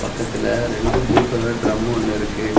பக்கத்துல ரெண்டு blue colour டிரமொன்னு இருக்கு.